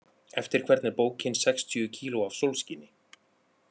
Eftir hvern er bókin Sextíu kíló af sólskini?